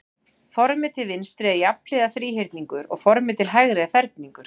Formið til vinstri er jafnhliða þríhyrningur og formið til hægri er ferningur.